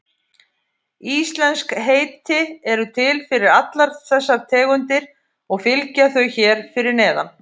Íslensk heiti eru til fyrir allar þessar tegundir og fylgja þau hér fyrir neðan.